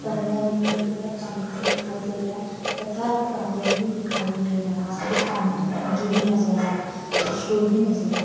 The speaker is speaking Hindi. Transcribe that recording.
पर्दा दिखाई दे रहा है पंखा दिखाई दे रहा है तथा टॉवल भी दिखाई दे रहा है और एक पानी की टंकी भी नज़र आ रही है स्टूल भी नज़र आ --